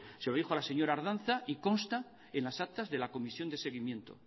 se lo dijo a la señora ardanza y consta en las actas de la comisión de seguimiento